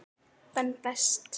Ben Best.